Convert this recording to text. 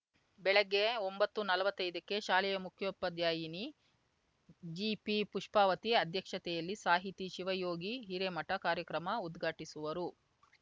ಬೆಳಗ್ಗೆ ಒಂಬತ್ತುನಲ್ವತ್ತೈದಕ್ಕೆ ಶಾಲೆಯ ಮುಖ್ಯೋಪಾಧ್ಯಾಯಿನಿ ಜಿಪಿಪುಷ್ಪಾವತಿ ಅಧ್ಯಕ್ಷತೆಯಲ್ಲಿ ಸಾಹಿತಿ ಶಿವಯೋಗಿ ಹಿರೇಮಠ ಕಾರ್ಯಕ್ರಮ ಉದ್ಘಾಟಿಸುವರು